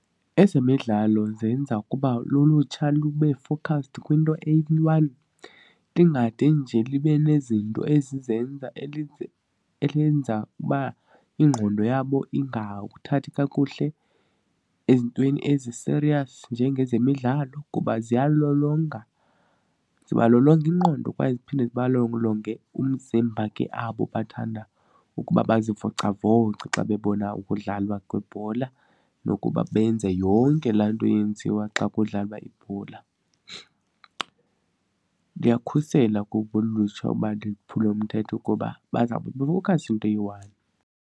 Ezemidlalo zenza ukuba lulutsha lube focused kwinto eyi-one ndingade nje libe nezinto ezizenza elenza uba ingqondo yabo ingawuthathi kakuhle ezintweni ezi-serious njengezemidlalo kuba ziyalolonga. Zibalolonga ingqondo kwaye ziphinde zibalolonge umzimba ke abo bathanda ukuba bazivocavoce xa bebona ukudlalwa kwebhola nokuba benze yonke laa nto yenziwa xa kudlalwa ibhola. Ndiyakhusela kuba ulutsha ukuba liphule umthetho kuba bazawube be-focused kwinto eyi-one.